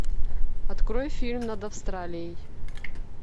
открой фильм над австралией